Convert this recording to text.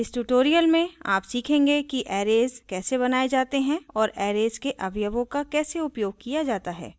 इस tutorial में आप सीखेंगे कि arrays कैसे बनाये जाते हैं और arrays के अवयवों का कैसे उपयोग किया जाता है